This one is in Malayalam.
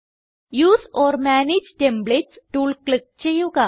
use or manage templates tool click ചെയ്യുക